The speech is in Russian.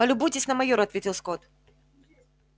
полюбуйтесь на майора ответил скотт